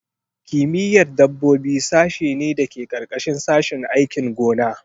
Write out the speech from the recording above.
Kimiyyar dabbobi sashe ne da ke ƙarƙashin sashin aikin gona.